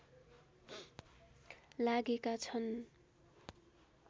लागेका छन्